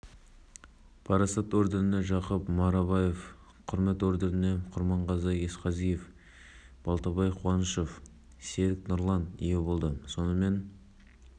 мараптталушылардың арасында отандық және шетелдіктермен бірлескен кәсіпорындардың өкілдері бар атап айтқанда дәрежелі барыс орденіне кенжебек ибрашев